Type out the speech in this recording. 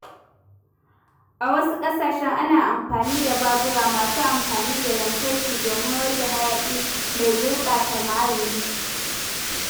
A wasu ƙasashen, ana amfani da babura masu amfani da lantarki domin rage hayaƙi mai gurɓata muhalli.